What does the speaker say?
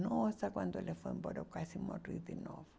Nossa, quando ele foi embora, eu quase morri de novo.